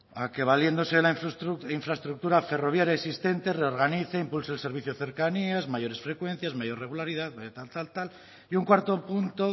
a que valiéndose de la infraestructura ferroviaria existente reorganice impulse el servicio de cercanías mayores frecuencias mayor regularidad mayor tal tal tal y un cuarto punto